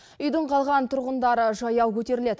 үйдің қалған тұрғындары жаяу көтеріледі